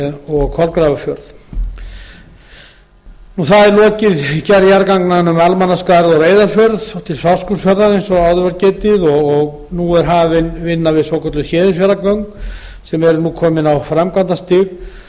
og kolgrafarfjörð það er lokið gerð jarðganganna um almannaskarð og reyðarfjörð og til fáskrúðsfjarðar eins og áður var getið og nú er hafin vinna við svokölluð héðinsfjarðargöng sem eru nú komin á framkvæmdastig